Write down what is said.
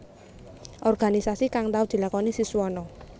Organisasi kang tau dilakoni Siswono